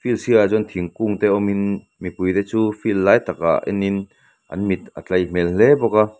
field sir ah chuan thingkung te awmin mipui te chu field lai takah enin an mit a tlai hmel hle bawk a.